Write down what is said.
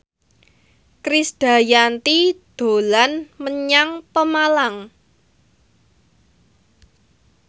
Krisdayanti dolan menyang Pemalang